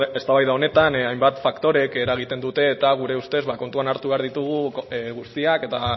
eztabaida honetan hainbat faktorek eragiten dute eta gure ustez ba kontuan hartu behar ditugu guztiak eta